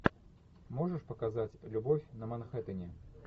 можешь показать любовь на манхэттене